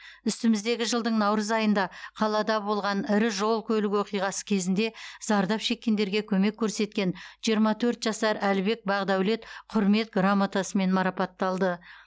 үстіміздегі жылдың наурыз айында қалада болған ірі жол көлік оқиғасы кезінде зардап шеккендерге көмек көрсеткен жиырма төрт жасар әлібек бақдәулет құрмет грамотасымен марапатталды